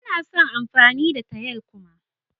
Ba na son yin amfani da tayal kuma.